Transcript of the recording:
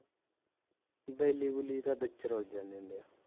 ਵੈਲੀ ਬੁਲੀ ਤਾਂ ਵਿਚ ਰੁੱਲ ਜਾਂਦੇ ਹੁੰਦੇ ਆ